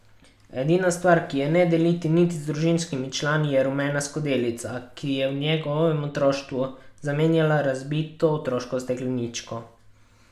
Edina stvar, ki je ne deli niti z družinskimi člani, je rumena skodelica, ki je v njegovem otroštvu zamenjala razbito otroško stekleničko.